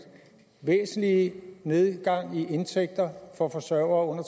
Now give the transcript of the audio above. væsentlig nedgang i indtægten for forsørgere